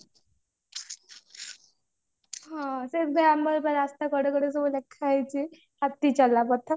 ହଁ ସେମଟି ବା ଆମର ବା ରାସ୍ତା କଡେ କଡେ ସବୁ ଲେଖା ହେଇଛି ହାତୀ ଚଲା ପଥ